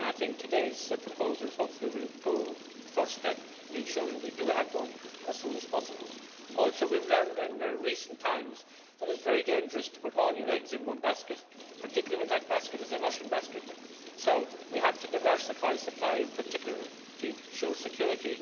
I hope that today's proposals will be the first step in ensuring that we do have one as soon as possible. We have also learned in recent times that it is very dangerous to put all your eggs in one basket, particularly when that basket is a Russian basket, so we have to diversify supply, in particular to ensure security.